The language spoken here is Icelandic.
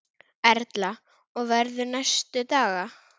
Erla: Og verður næstu daga?